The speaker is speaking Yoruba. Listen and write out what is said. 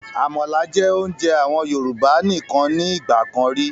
Àmàlà jẹ́ oúnjẹ àwọn Yorùbá nìkan ni ìgbàkan ríi